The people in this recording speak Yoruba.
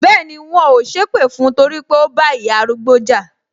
Bẹẹni, wọn ò sépè fún torí pé ó bá ìyá arúgbó jà